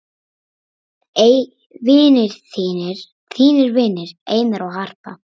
þínir vinir, Einar og Harpa.